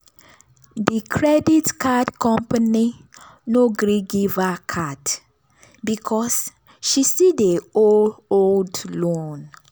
di credit card company no gree give her card because she still dey owe old loan.